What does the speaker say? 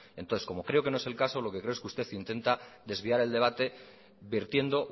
entonces como creo que no es el caso lo que creo es que usted intenta desviar el debate vertiendo